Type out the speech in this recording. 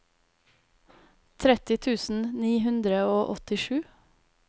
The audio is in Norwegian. tretti tusen ni hundre og åttisju